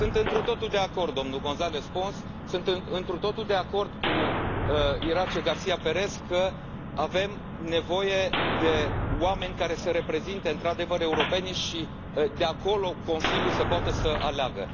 Sunt întru totul de acord cu domnul González Pons, sunt întru totul de acord cu Iratxe García Pérez că avem nevoie de oameni care să reprezinte, într adevăr, europenii și de acolo Consiliul să poată să aleagă.